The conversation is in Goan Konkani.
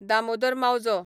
दामोदर मावजो